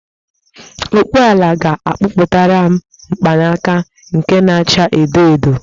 Ọkpụ ọla ga-akpụtaram mgbanaka nke na-acha edo edo